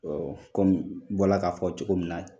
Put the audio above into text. Ɔ kɔmi n bɔra k'a fɔ cogo min naa ye